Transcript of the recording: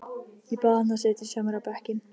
Ég bað hann að setjast hjá mér á bekkinn.